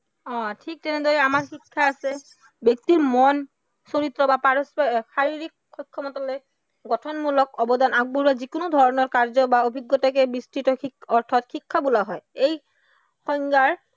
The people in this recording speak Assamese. অ ঠিক তেনেদৰে আমাৰ শিক্ষা আছে। ব্য়ক্তিৰ মন, চৰিত্ৰ বা শাৰীৰিক সক্ষমতালৈ গঠনমূলক অৱদান আগবঢ়োৱা যিকোনো ধৰণৰ কাৰ্য বা যোগ্য়তাকে বিস্তৃত অৰ্থত শিক্ষা বোলা হয়। এই সংজ্ঞাৰ